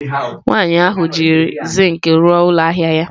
Nwaanyị ahụ jiri zinc rụọ ụlọ ahịa ya.